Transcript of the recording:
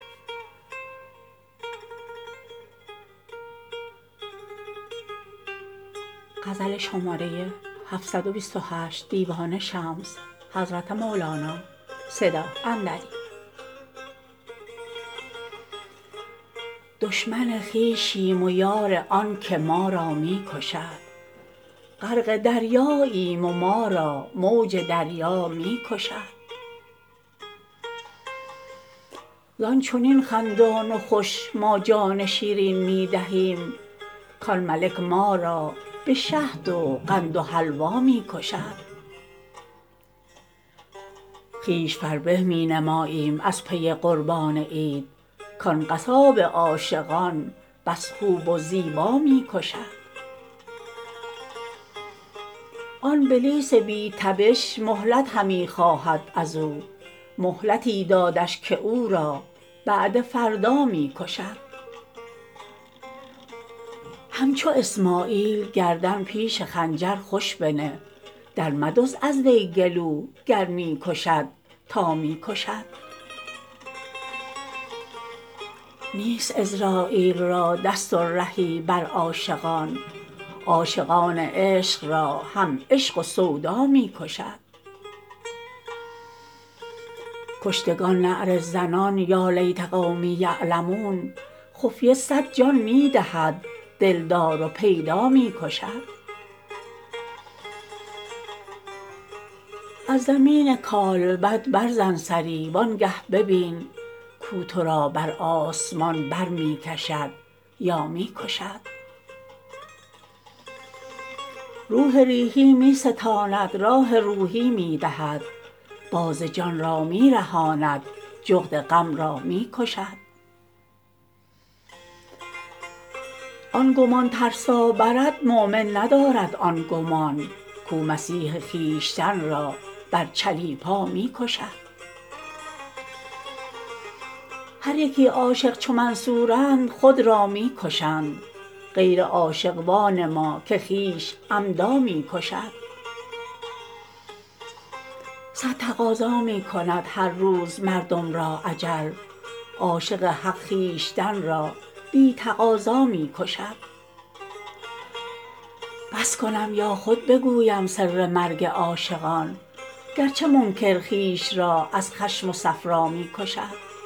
دشمن خویشیم و یار آنک ما را می کشد غرق دریاییم و ما را موج دریا می کشد زان چنین خندان و خوش ما جان شیرین می دهیم کان ملک ما را به شهد و قند و حلوا می کشد خویش فربه می نماییم از پی قربان عید کان قصاب عاشقان بس خوب و زیبا می کشد آن بلیس بی تبش مهلت همی خواهد از او مهلتی دادش که او را بعد فردا می کشد همچو اسماعیل گردن پیش خنجر خوش بنه درمدزد از وی گلو گر می کشد تا می کشد نیست عزراییل را دست و رهی بر عاشقان عاشقان عشق را هم عشق و سودا می کشد کشتگان نعره زنان یا لیت قومی یعلمون خفیه صد جان می دهد دلدار و پیدا می کشد از زمین کالبد برزن سری وانگه ببین کو تو را بر آسمان بر می کشد یا می کشد روح ریحی می ستاند راح روحی می دهد باز جان را می رهاند جغد غم را می کشد آن گمان ترسا برد مؤمن ندارد آن گمان کو مسیح خویشتن را بر چلیپا می کشد هر یکی عاشق چو منصورند خود را می کشند غیر عاشق وانما که خویش عمدا می کشد صد تقاضا می کند هر روز مردم را اجل عاشق حق خویشتن را بی تقاضا می کشد بس کنم یا خود بگویم سر مرگ عاشقان گرچه منکر خویش را از خشم و صفرا می کشد شمس تبریزی برآمد بر افق چون آفتاب شمع های اختران را بی محابا می کشد